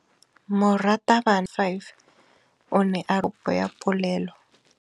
Moratabana wa kereiti ya 5 o ne a ruta baithuti ka popô ya polelô.